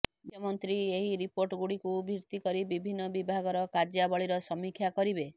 ମୁଖ୍ୟମନ୍ତ୍ରୀ ଏହି ରିପୋର୍ଟଗୁଡ଼ିକୁ ଭିତ୍ତି କରି ବିଭିନ୍ନ ବିଭାଗର କାର୍ୟ୍ୟାବଳୀର ସମୀକ୍ଷା କରିବେ